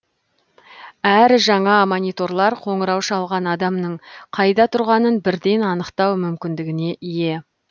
әрі жаңа мониторлар қоңырау шалған адамның қайда тұрғанын бірден анықтау мүмкіндігіне ие